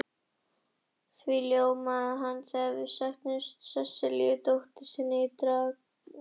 Því ljómaði hann þegar hann mætti Sesselíu dóttur sinni á Draganum.